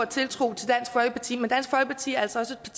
tiltro til dansk folkeparti men dansk folkeparti er altså også